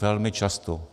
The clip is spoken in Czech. Velmi často.